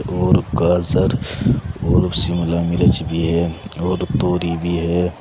और गाजर और शिमला मिर्च भी है और तोरी भी है।